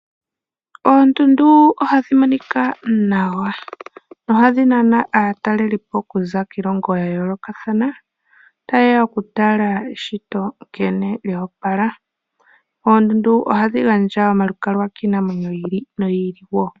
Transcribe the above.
Oondundu ohadhi monika nawa nohadhi nana aataleli po okuza kiilongo ya yoolokathana, taye ya okutala eshito nkene lyo opala. Oondundu ohadhi gandja omalukalwa kiinamwenyo yi ili noyi ili.